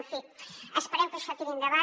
en fi esperem que això tiri endavant